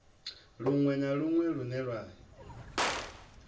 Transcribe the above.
luṅwe na luṅwe lune ya